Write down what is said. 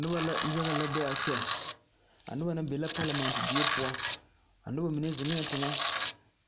Noba la yagalɛ be a kyɛ a noba na be la parlament die poɔ a noba mine zeŋɛɛ teŋɛ